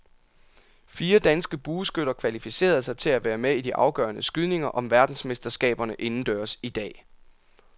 Fire danske bueskytter kvalificerede sig til at være med i de afgørende skydninger om verdensmesterskaberne indendørs i dag.